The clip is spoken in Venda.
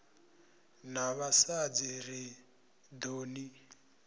na vhasadzi ri ḓo ni